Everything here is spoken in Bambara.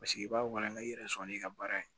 Paseke i b'a walanka i yɛrɛ sɔrɔ n'i ka baara ye